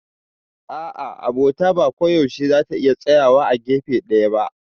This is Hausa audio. A'a, Abota ba koyaushe za ta iya tsayawa a gefe ɗaya ba.